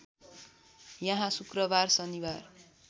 यहाँ शुक्रबार शनिबार